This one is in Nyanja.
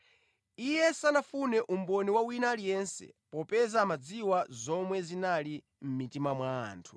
Iye sanafune umboni wa wina aliyense popeza amadziwa zomwe zinali mʼmitima mwa anthu.